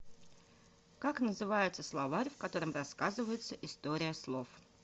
как называется словарь в котором рассказывается история слов